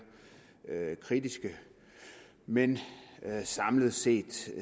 kritiske men samlet set